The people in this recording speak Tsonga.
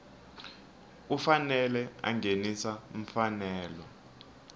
u fanele a nghenisa mfanelo